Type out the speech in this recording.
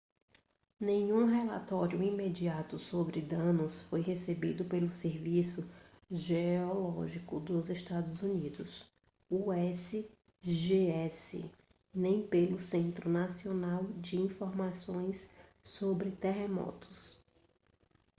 nenhum relatório imediato sobre danos foi recebido pelo serviço geológico dos estados unidos usgs nem pelo centro nacional de informações sobre terremotos